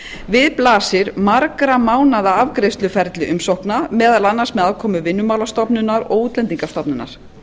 við blasir margra mánaða afgreiðsluferli umsókna á með aðkomu vinnumálastofnunar og útlendingastofnunar